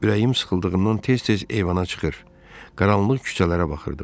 Ürəyim sıxıldığından tez-tez eyvana çıxır, qaranlıq küçələrə baxırdım.